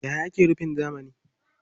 Yaya ake rufin zamani?